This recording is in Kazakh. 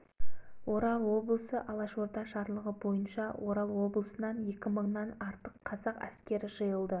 күллі сібірді колчак алғаннан кейінгі шыққан сарыарқа газетінің жылғы қазандағы нөмірінде орал облысы жымпиты қаласындағы күнбатыс алашорданың жасаған